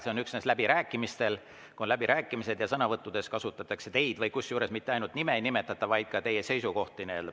See on üksnes läbirääkimistel: siis, kui on läbirääkimised ja sõnavõttudes kasutatakse teie, kusjuures isegi mitte nime ei pea nimetama, vaid teie seisukohti.